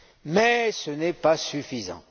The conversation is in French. Mais ce n'est pas suffisant.